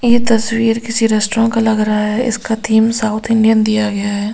यह तस्वीर किसी रेस्टोरेंट का लग रहा है इसका थीम साउथ इंडियन दिया गया है।